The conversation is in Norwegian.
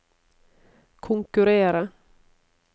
konkurrere